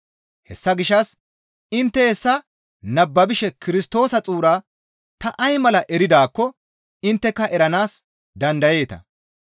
Hessa gishshas intte hessa nababishe Kirstoosa xuura ta ay mala eridaakko intteka eranaas dandayeeta.